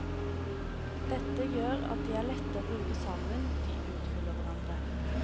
Dette gjør at de er lette å bruke sammen, de utfyller hverandre.